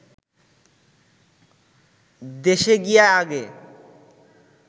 দেশে গিয়া আগে